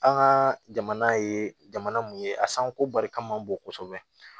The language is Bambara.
An ka jamana ye jamana mun ye a sanko barika man bon kosɛbɛ